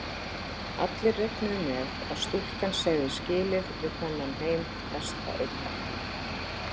Allir reiknuðu með að stúlkan segði skilið við þennan heim næsta augnablik.